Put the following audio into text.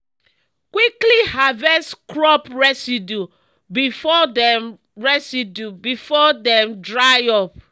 quickly harvest crop residue before dem residue before dem dry up